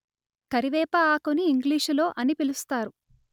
కరివేప ఆకుని ఇంగ్లీషులో అని పిలుస్తారు